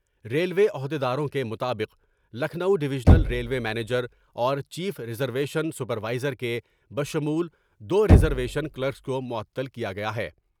Railway عہد یداروں کے مطابق لکھنوڈیویژنل ریلوے منیجر اور chief reservation supervisor کے بشمول دور ریزرویشن کلکرس کو معطل کیا گیا ہے ۔